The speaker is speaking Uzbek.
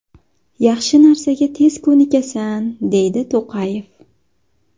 Yaxshi narsaga tez ko‘nikasan”, deydi To‘qayev.